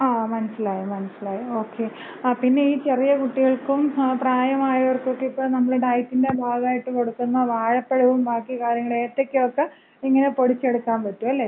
ങാ, മനസ്സിലായി മനസ്സിലായി. ഒക്കെ ആ, പിന്നെ ചെറിയ കുട്ടികൾക്കും, പ്രായമായവർക്കുമൊക്കെ ഇപ്പോ നമ്മള് ഡയറ്റിന്‍റെ ഭാഗായിട്ട് കൊടുക്കുന്ന വാഴപ്പഴവും ബാക്കി കാര്യങ്ങളും ഏത്തക്കേം ഒക്ക ഇങ്ങനെ പൊടിച്ചെടുക്കാമ്പറ്റും. അല്ലേ?